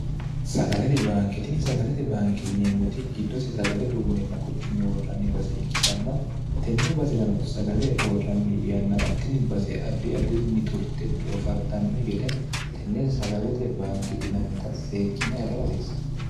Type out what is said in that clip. sagalete baanketini sagalete baanke yineemmoti giddose sagale duunninna qochumme worranni base ikkitanna tenne basirano sagale worranni yannarattinni base addi addirinni turte doofartannohi gede tenne sagalete baanke yinannita seekkine agara hasiissanno